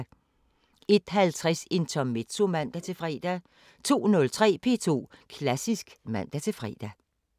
01:50: Intermezzo (man-fre) 02:03: P2 Klassisk (man-fre)